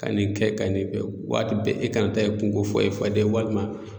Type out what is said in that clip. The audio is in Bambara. Ka nin kɛ ka nin kɛ, waati bɛɛ e kana ta ye kunko fɔ e fadenw walima.